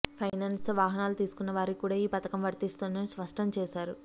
finance తో వాహనాలు తీసుకున్న వారికి కూడా ఈ పథకం వర్తిస్తుందని స్పష్టం చేశారు